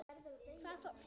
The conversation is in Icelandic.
Hvaða fólk?